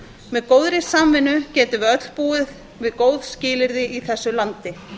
með góðri samvinnu getum við öll búið við góð skilyrði í þessu landi